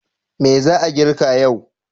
Me za a girka yau?